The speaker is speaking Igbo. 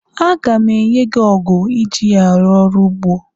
A ga m enyi gị ọgụ iji arụ ọrụ ugbo.